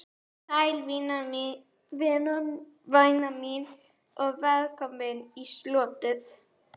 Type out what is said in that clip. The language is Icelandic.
Komdu sæl, væna mín, og velkomin í slotið.